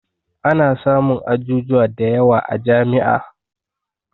Ana samun ajujuwa da yawa a jami'a